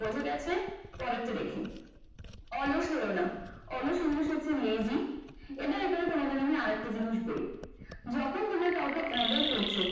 বোঝা গেছে পরেরটা দেখি অলস হইও না। অলস english হচ্ছে lazy এবার এখানে আমি তোমাদের আরেকটা জিনিস বলি। যখন দেখবে কাউকে order